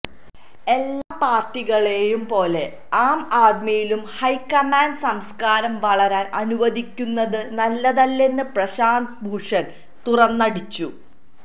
എല്ലാ പാർട്ടികളേയും പോലെ ആം ആദ്മിയിലും ഹൈക്കമാൻഡ് സംസ്കാരം വളരാൻ അനുവദിക്കുന്നത് നല്ലതല്ലെന്ന് പ്രശാന്ത് ഭൂഷൺ തുറന്നടിച്ചു